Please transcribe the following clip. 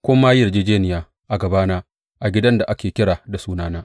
Kun ma yi yarjejjeniya a gabana a gidan da ake kira da Sunana.